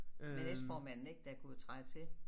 Med næstformanden ik der kunne træde til